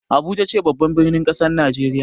Abuja ce babban birnin kasar Najeriya.